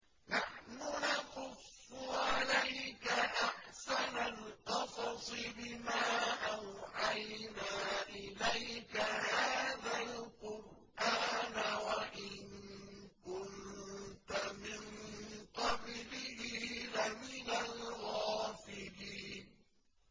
نَحْنُ نَقُصُّ عَلَيْكَ أَحْسَنَ الْقَصَصِ بِمَا أَوْحَيْنَا إِلَيْكَ هَٰذَا الْقُرْآنَ وَإِن كُنتَ مِن قَبْلِهِ لَمِنَ الْغَافِلِينَ